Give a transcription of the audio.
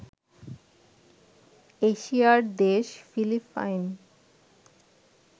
এশিয়া'র দেশ ফিলিপাইন